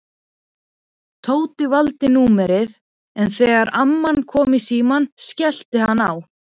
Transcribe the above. Tóti valdi númerið en þegar amman kom í símann skellti hann á.